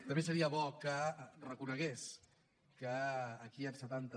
també seria bo que reconegués que aquí hi han setanta